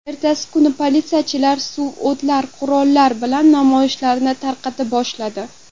Ertasi kuni politsiyachilar suvotar qurollar bilan namoyishlarni tarqata boshladi.